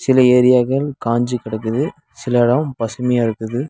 சில ஏரியாக்கல் காஞ்சு கெடக்குது சில எடோ பசுமையா இருக்குது.